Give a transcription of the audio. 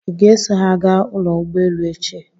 Ị ga-eso ha gaa ụlọ ụgbọelu echi?